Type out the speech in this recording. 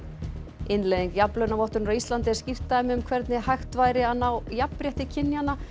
innleiðing jafnlaunavottunar á Íslandi er skýrt dæmi um hvernig hægt væri að ná jafnrétti kynjanna